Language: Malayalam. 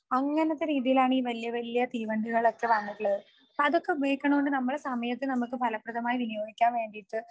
അങ്ങനത്തെ രീതിയിലാണ് ഈ വല്യവല്യ തീവണ്ടികളൊക്കെ വന്നിട്ടുള്ളത്. അതൊക്കെ ഉപയോഗിക്കുന്നോണ്ട് നമ്മളെ സമയത്തെ നമുക്ക് ഫലപ്രദമായി വിനിയോഗിക്കാൻ വേണ്ടീട്ട്